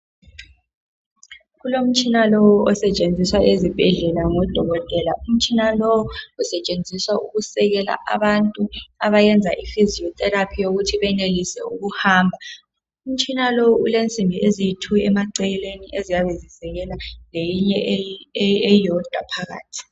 Kulomtshina lowu osetshenziswa ezibhedlela ngodokotela. Umtshina lowu usetshenziswa ukusekela abantu abayenza iphysio therapy yokuthi benelise ukuhamba. Umtshina lowu ulensimbi eziyitwo emaceleni eziyabe zisekela leyinye eyodwa phakathi.